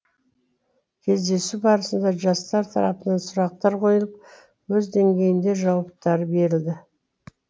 кездесу барысында жастар тарапынан сұрақтар қойылып өз деңгейінде жауаптары берілді